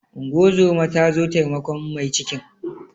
Unguwar zoma ta zo taimakon mai cikin.